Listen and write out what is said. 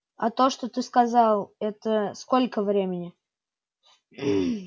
а то что ты сказал это сколько времени